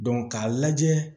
k'a lajɛ